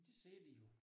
Det siger de jo